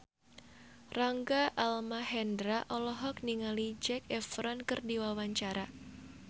Rangga Almahendra olohok ningali Zac Efron keur diwawancara